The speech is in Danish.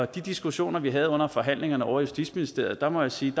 de diskussioner vi havde under forhandlingerne ovre i justitsministeriet må jeg sige